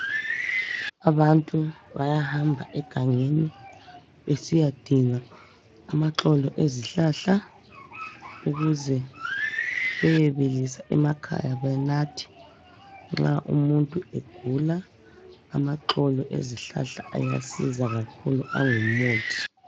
Abantu bayahamba egangeni besiyadinga amaxolo ezihlahla ukuze beyebilisa emakhaya banathe nxa umuntu egula. Amaxolo ezihlahla yazisa kakhulu.